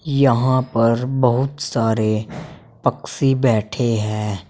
यहां पर बहुत सारे पक्षी बैठे हैं।